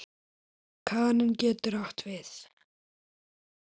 Kaninn getur átt við